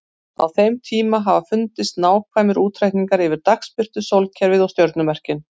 Á þeim hafa fundist nákvæmir útreikningar yfir dagsbirtu, sólkerfið og stjörnumerkin.